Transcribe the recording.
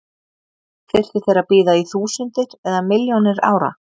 Þyrftu þeir að bíða í þúsundir eða milljónir ára?